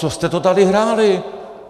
Co jste to tady hráli?